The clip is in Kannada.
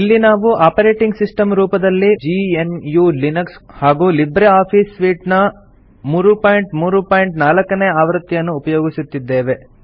ಇಲ್ಲಿ ನಾವು ಆಪರೇಟಿಂಗ್ ಸಿಸ್ಟಮ್ ರೂಪದಲ್ಲಿ ಜಿಎನ್ಯು ಲಿನಕ್ಸ್ ಹಾಗೂ ಲಿಬ್ರೆ ಆಫೀಸ್ ಸೂಟ್ ನ 334 ನೇ ಆವೃತ್ತಿಯನ್ನು ಉಪಯೊಗಿಸುತ್ತಿದ್ದೇವೆ